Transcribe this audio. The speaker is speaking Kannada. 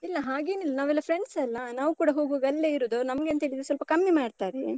ಇಲ್ಲ, ಹಾಗೇನಿಲ್ಲ, ನಾವೆಲ್ಲ friends ಅಲ್ಲ? ನಾವು ಕೂಡ ಹೋಗ್ವಾಗ ಅಲ್ಲೇ ಇರುದು. ನಮ್ಗೆಂತ ಹೇಳಿದ್ರೆ ಸ್ವಲ್ಪ ಕಮ್ಮಿ ಮಾಡ್ತಾರೆ.